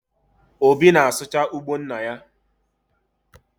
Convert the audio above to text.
Obi na-asụcha ugbo nna ya